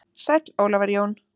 Sæll Ólafur Jón.